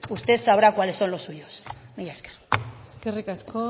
usted sabrá cuáles son los suyos mila esker eskerrik asko